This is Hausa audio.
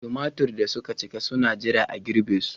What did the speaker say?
Tumatir da suka cika suna jira a girbe su.